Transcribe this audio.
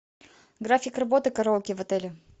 график работы караоке в отеле